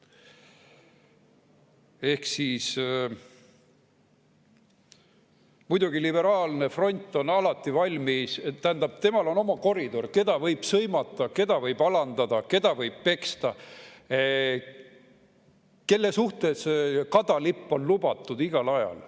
Muidugi, liberaalne front on alati valmis, tähendab, temal on oma koridor, keda võib sõimata, keda võib alandada, keda võib peksta, kelle suhtes kadalipp on igal ajal lubatud.